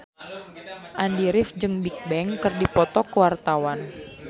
Andy rif jeung Bigbang keur dipoto ku wartawan